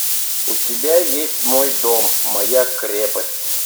у тебя есть мой дом моя крепость